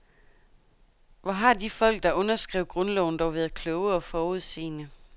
Hvor har de folk, der skrev grundloven, dog været kloge og forudseende.